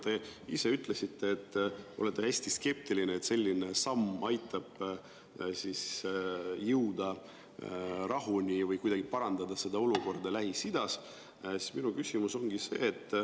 Te ise ütlesite, et olete hästi skeptiline, kas selline samm aitab jõuda rahuni või kuidagi parandada olukorda Lähis-Idas.